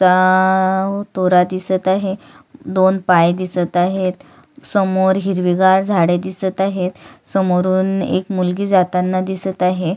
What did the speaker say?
आअव तोरा दिसत आहे दोन पाय दिसत आहेत समोर हिरवी गार झाडे दिसत आहेत समोरून एक मुलगी जाताना दिसत आहे.